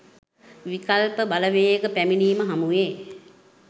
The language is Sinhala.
විකල්ප බලවේගපැමිණීම හමුවේ